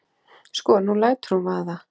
Sko. nú lætur hún vaða.